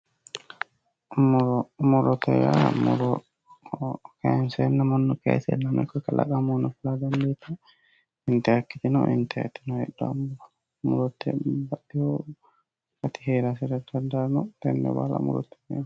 Murote yaa muro loonsenna mannu kaysennano ikko kalaqamuni fulittanote intannikkitino intannitino heedhano murote babbaxino akati heerano tenne baalla murote yineemmo.